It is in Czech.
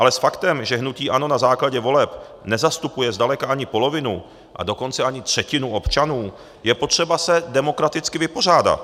Ale s faktem, že hnutí ANO na základě voleb nezastupuje zdaleka ani polovinu, a dokonce ani třetinu občanů, je potřeba se demokraticky vypořádat.